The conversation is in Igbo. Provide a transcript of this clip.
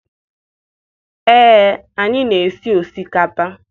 Ee, anyị na-esi osikapa.